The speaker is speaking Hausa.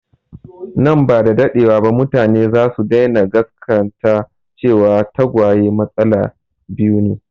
Nan ba da daɗewa ba mutane za su daina gasgata cewa tagwaye matsala biyu ne